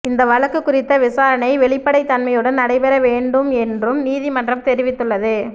இந்த வழக்கு குறித்த விசாரணை வெளிப்படைத்தன்மையுடன் நடைபெற வேண்டும் என்றும் நீதிமன்றம் தெரிவித்துள்ளது